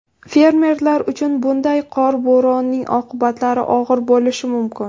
Fermerlar uchun bunday qor bo‘ronining oqibatlari og‘ir bo‘lishi mumkin.